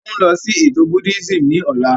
À ń lọ sí ètò Buddhism ní ọ̀la